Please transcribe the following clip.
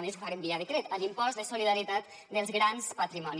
més ho farem via decret a l’impost de solidaritat dels grans patrimonis